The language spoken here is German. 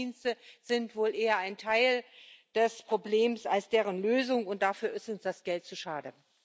Geheimdienste sind wohl eher ein Teil des Problems als dessen Lösung, und dafür ist uns das Geld zu schade.